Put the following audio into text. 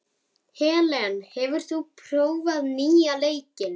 Helen, hefur þú prófað nýja leikinn?